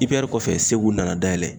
IPR kɔfɛ Segu nana dayɛlɛ.